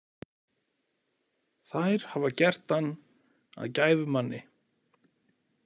Þær hafa gert hann að gæfumanni.